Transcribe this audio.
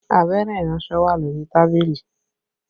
Abẹ́rẹ́ iransọ wà lórí tábìlì